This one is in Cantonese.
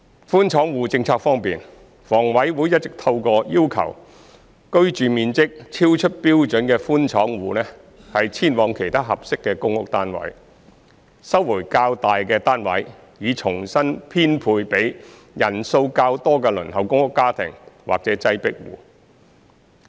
寬敞戶政策方面，房委會一直透過要求居住面積超出標準的寬敞戶遷往其他合適的公屋單位，收回較大的單位，以重新編配予人數較多的輪候公屋家庭或擠迫戶。